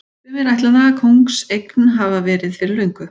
Sumir ætla það kóngseign verið hafa fyrir löngu.